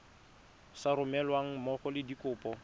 sa romelweng mmogo le dikopo